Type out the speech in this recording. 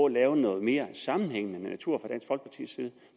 lave noget mere sammenhængende natur